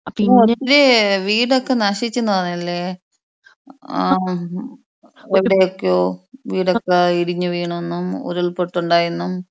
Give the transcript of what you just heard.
പിന്നെ ഇത് വീടൊക്കെ നശിച്ച് എന്ന് പറയാല്ലേ? ഏഹ് എവിടെയൊക്കെയോ വീടൊക്കെ ഇടിഞ്ഞു വീണെന്നും ഉരുൾ പൊട്ട് ഉണ്ടായി എന്നും.